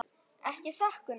Ekki satt Gunnar?